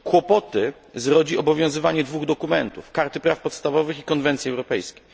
Kłopoty zrodzi obowiązywanie dwóch dokumentów karty praw podstawowych i conwencji europejskiej.